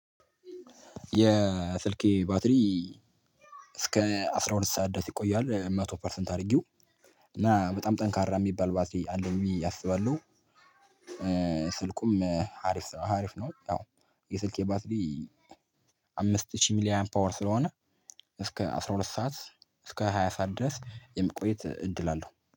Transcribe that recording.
የስልኬ ባትሪ እስከ አስራ ሁለት ሰዓት ድረስ ይቆያል መቶ ፐርሰንት አድርጊው እና በጣም ጠንካራ የሚባል ባትሊ አለኝ አስባለሁ። ስልኩም ሀሪፍ ነው አሪፍ ነው። የስልኬ ባትሊ አምስት ሺህ ሚሊየን ፓወር ስለሆነ እስከ አስራ ሁለት ሰዓት እስከ ሃያ ሰዓት ድረስ የምቆይት እድል አለው